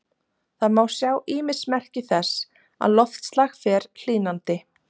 Það má sjá ýmis merki þess að loftslag fer hlýnandi.